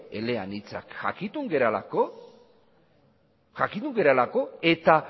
eleanitzak jakitun garelako eta